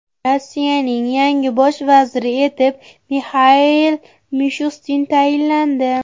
Rossiyaning yangi bosh vaziri etib Mixail Mishustin tayinlandi .